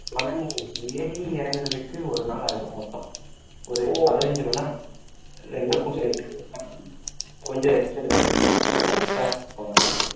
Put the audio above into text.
ஆனா நீ ஏறி இறங்குறதுக்கு ஒரு நாள் ஆகிரும் மொத்தம் ஒரு பதினைஞ்சு மணி நேரம் ரெண்டுக்கும் சேர்த்து கொஞ்சம் rest எடுத்து correct டா போகணும்னா